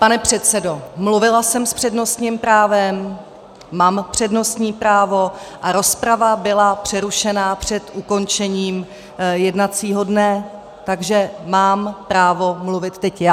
Pane předsedo, mluvila jsem s přednostním právem, mám přednostní právo a rozprava byla přerušena před ukončením jednacího dne, takže mám právo mluvit teď já.